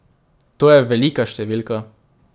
To je velika številka.